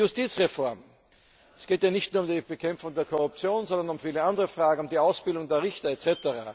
Die Justizreform Es geht ja nicht nur um die Bekämpfung der Korruption, sondern um viele andere Fragen, um die Ausbildung der Richter etc.